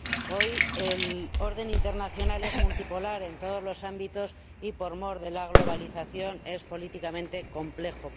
Hoy el orden internacional es multipolar en todos los ámbitos y, por mor de la globalización, es políticamente complejo.